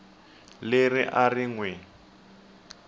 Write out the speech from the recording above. leri a ri n wi